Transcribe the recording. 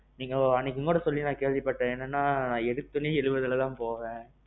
நீங்க அன்னைக்கு முன்னாடி சொல்லி கேள்விப்பட்டேன் என்னன்னா ஏடுதொன்னே எழுவதுலதான் போவேன்